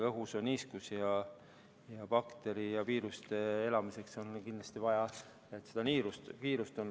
Õhus on niiskust ja seda on bakteritele ja viirustele kindlasti vaja.